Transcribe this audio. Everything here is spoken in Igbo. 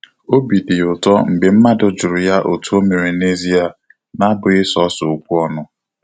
Obi dị ya ụtọ mgbe mmadụ jụrụ ya otú o mere na ezia, na abụghị sọsọ okwu ọnụ